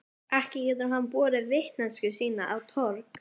Ekki getur hann borið vitneskju sína á torg.